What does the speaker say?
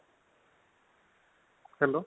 hello